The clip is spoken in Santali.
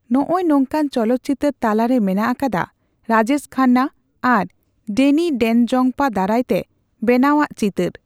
ᱱᱚᱜᱼᱚᱭ ᱱᱚᱝᱠᱟᱱ ᱪᱚᱞᱚᱛ ᱪᱤᱛᱟᱹᱨ ᱛᱟᱞᱟᱨᱮ ᱢᱮᱱᱟᱜ ᱟᱠᱟᱫᱟ ᱨᱟᱡᱮᱥ ᱠᱷᱟᱱᱱᱟ ᱟᱨ ᱰᱮᱱᱤ ᱰᱮᱱᱡᱚᱝᱯᱟ ᱫᱟᱨᱟᱭᱛᱮ ᱵᱮᱱᱟᱣᱟᱜ ᱪᱤᱛᱟᱹᱨ ᱾